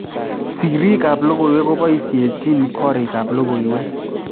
Siriik ap logoiywek kopoishechin korikap logoiywek